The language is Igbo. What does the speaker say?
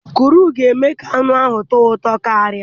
Cọrị ga-eme ka anụ ahụ tọọ ụtọ karịa.